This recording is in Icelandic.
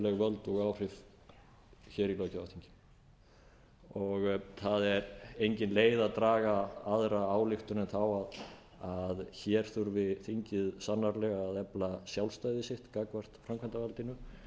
og áhrif hér í á alþingi það er engin leið að draga aðra ályktun en þá að hér þurfi þingið sannarlega að efla sjálfstæði sitt gagnvart framkvæmdarvaldinu